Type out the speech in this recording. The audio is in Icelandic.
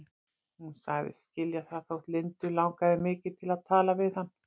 Hún sagðist skilja það þótt Lindu langaði mikið til að tala við hann.